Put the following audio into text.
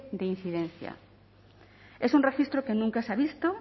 de incidencia es un registro que nunca se ha visto